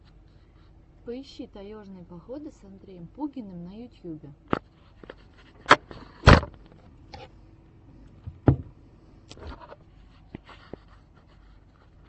поищи таежные походы с андреем пугиным на ютьюбе